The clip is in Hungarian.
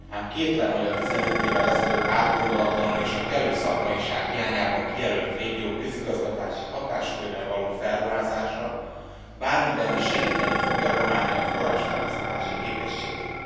Ám kétlem, hogy a 15 évvel ezelőtt átgondolatlanul és kellő szakmaiság hiányában kijelölt régiók közigazgatási hatáskörrel való felruházása bármiben is segíteni fogja Románia forrásfelhasználási képességét.